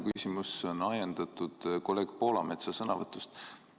Minu küsimus on ajendatud kolleeg Poolametsa sõnavõtust.